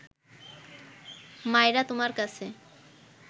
মাইরা তুমার কাছে